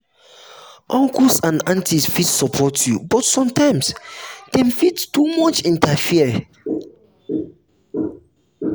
uncles and aunties fit support you but sometimes dem fit too much interfere.